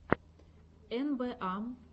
эн бэ а